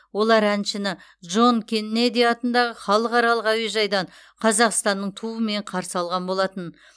олар әншіні джон кеннеди атындағы халықаралық әуежайдан қазақстанның туымен қарсы алған болатын